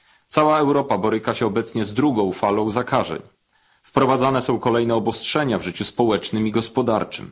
Cała Europa boryka się obecnie z drugą falą zakażeń. Wprowadzane są kolejne obostrzenia w życiu społecznym i gospodarczym.